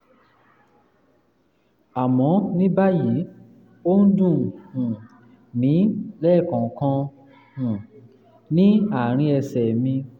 àmọ́ ní báyìí ó ń dùn um mí lẹ́ẹ̀kọ̀ọ̀kan um ní àárín ẹsẹ̀ mi